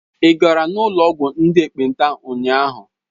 Ị gara n'ụlọ ọgwụ ndị ekpenta ụnyahụ?